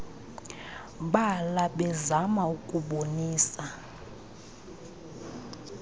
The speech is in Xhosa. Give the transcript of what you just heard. bala bezama ukubonisa